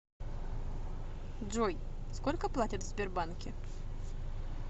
джой сколько платят в сбербанке